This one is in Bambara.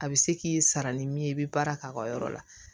A bɛ se k'i sara ni min ye i bɛ baara k'a ka yɔrɔ la